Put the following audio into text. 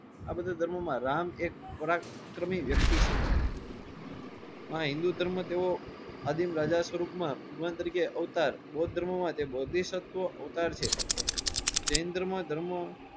આ બધા ધર્મ માં રામ એક પરાક્રમી વ્યક્તિ છે આ હિન્દૂ ધર્મ તો એવો રાજા સ્વરૂપ માં ભગવાન તરીકે અવતાર બૌદ્ધ ધર્મ માટે બોબહિસ્તવ અવતાર છે. જૈનન ધર્મ માં ધર્મ